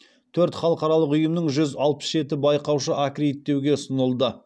төрт халықаралық ұйымның жүз алпыс жеті байқаушы аккредиттеуге ұсынылды